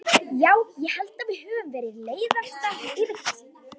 Já, ég held að við höfum verið leiðastar yfir þessu.